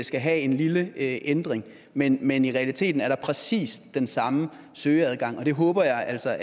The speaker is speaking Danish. skal have en lille ændring men men i realiteten er der præcis den samme søgeadgang det håber jeg altså